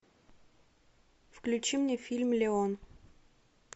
включи мне фильм леон